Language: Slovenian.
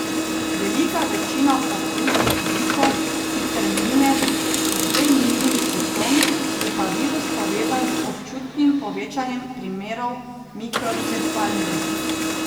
Velika večina okužb z Ziko sicer mine z le milimi simptomi, je pa virus povezan z občutnim povečanjem primerov mikrocefalije.